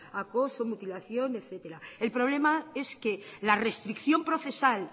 acoso mutilación etcétera el problema es que la restricción procesal